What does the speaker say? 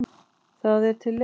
Það er til leið.